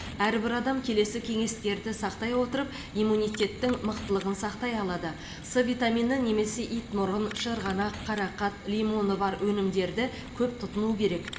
әрбір адам келесі кеңестерді сақтай отырып иммунитеттің мықтылығын сақтай алады с витамині немесе итмұрын шырғанақ қарақат лимоны бар өнімдерді көп тұтыну керек